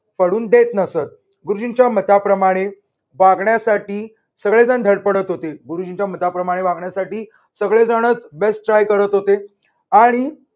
पडून देत नसत गुरुजींच्या मताप्रमाणे वागण्यासाठी सगळेजण धडपडत होते. गुरुजींच्या मताप्रमाणे वागण्यासाठी सगळेजणच besttry करत होते. आणि